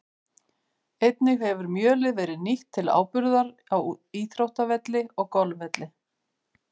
Einnig hefur mjölið verið nýtt til áburðar á íþróttavelli og golfvelli.